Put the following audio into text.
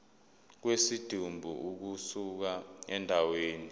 kwesidumbu ukusuka endaweni